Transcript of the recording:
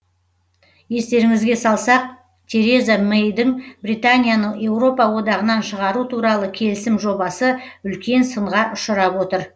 естеріңізге салсақ тереза мэйдің британияны еуропа одағынан шығару туралы келісім жобасы үлкен сынға ұшырап отыр